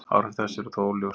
Áhrif þessa eru þó óljós.